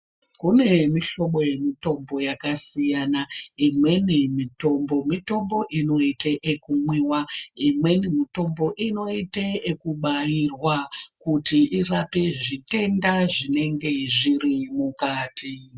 Kune mihlobo yemitombo yakasiyana , imweni mitombo , mitombo inoite ekumwiwa, imweni mitombo inoite ekubairwa kuti irape zvitenda zvinenge zviri mukati.